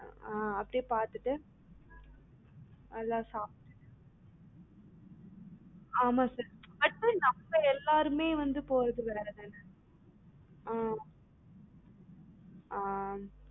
ஆஹ் அப்டியே பாத்துட்டு நல்லா சாப்டுட்டு ஆமா sir actually நம்ம எல்லாருமே வந்து போறது வேற தான ஆஹ் ஆமா